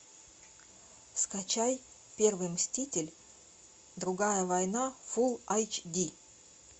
скачай первый мститель другая война фулл эйч ди